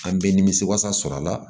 An bɛ nimisi wasa sɔrɔ a la